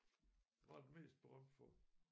Hvad er den mest berømt for?